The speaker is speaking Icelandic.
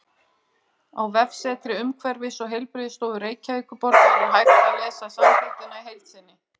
Á vefsetri Umhverfis- og heilbrigðisstofu Reykjavíkurborgar er hægt að lesa samþykktina í heild sinni.